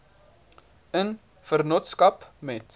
in vennootskap met